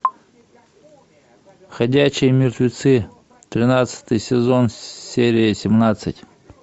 ходячие мертвецы тринадцатый сезон серия семнадцать